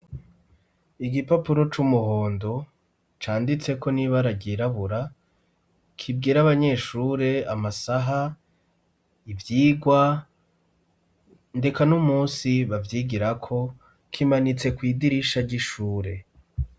Igipapuro c'umuhondo canditseko n' ibara ryirabura kibwira abanyeshure amasaha, ivyigwa, ndeka n'umunsi bavyigirako, kimanitse kw' idirisha ry'ishure.